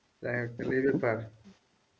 তাহলে এই ব্যাপার,